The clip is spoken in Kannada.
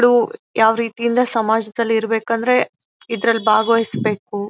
ಳು ಯಾವ ರೀತಿಯಿಂದ ಸಮಾಜದಲ್ಲಿ ಇರಬೇಕೆಂದರೆ ಇದರಲ್ಲಿ ಭಾಗವಹಿಸಬೇಕು --